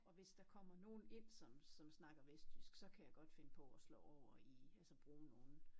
Og hvis der kommer nogen ind som som snakker vestjyst så kan jeg godt finde på at slå over i altså bruge nogen